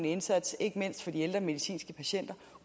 indsats ikke mindst for de ældre medicinske patienter